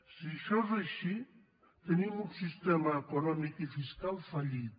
si això és així tenim un sistema econòmic i fiscal fallit